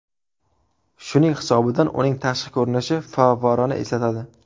Shuning hisobidan uning tashqi ko‘rinishi favvorani eslatadi.